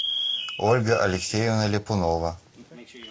ольга алексеевна ляпунова